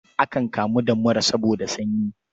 Akan kamu da mura saboda sanyi.